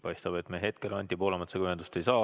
Paistab, et me hetkel Anti Poolametsaga ühendust ei saa.